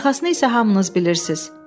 Arxasını isə hamınız bilirsiz.